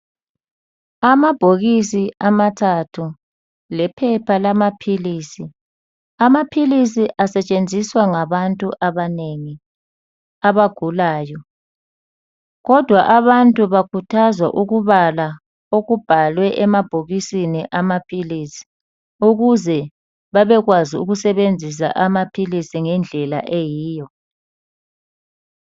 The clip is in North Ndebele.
Amabhokisi amathathu lephepha lamaphilisi. Amaphilisi asetshenziswa ngabantu abanengi abagulayo, kodwa abantu bakhuthazwa ukubala okubhalwe emabhokisini amaphilisi, ukuze babekwazi ukusebenzisa amaphilisi ngendlela eyiyo.